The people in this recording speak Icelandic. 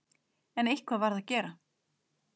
En eitthvað varð að gera.